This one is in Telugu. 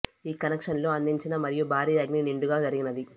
ఈ కనెక్షన్ లో అందించిన మరియు భారీ అగ్ని నిండుగా జరిగినది